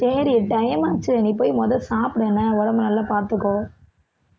சரி time ஆச்சு நீ போய் முத சாப்பிடு என்ன உடம்பை நல்லா பாத்துக்கோ